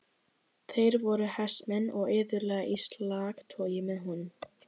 Þeir voru hestamenn og iðulega í slagtogi með honum.